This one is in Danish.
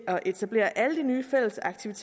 tage